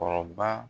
Kɔrɔba